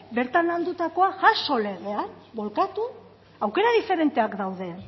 bertan landutakoa jaso legean bolkatu aukera diferenteak daude